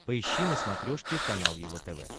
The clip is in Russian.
поищи на смотрешке канал его тв